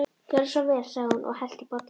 Gjörðu svo vel sagði hún og hellti í bollana.